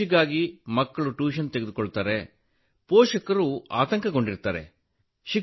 ಪರೀಕ್ಷೆಗಾಗಿ ಮಕ್ಕಳು ಟ್ಯೂಷನ್ ತೆಗೆದುಕೊಳ್ಳುತ್ತಾರೆ ಪೋಷಕರು ಆತಂಕಗೊಂಡಿರುತ್ತಾರೆ